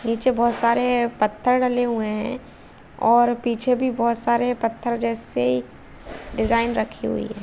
पीछे बहुत सारे पत्थर डले हुए है और पीछे भी बहुत सारे पत्थर जैसे डिज़ाइन रखी हुई है ।